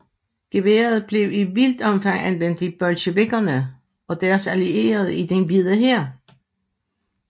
Geværet blev i vidt omfang anvendt af bolsjevikkerne og deres allierede og den Hvide Hær